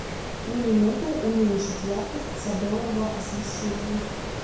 на минуту уменьшить яркость садового освещения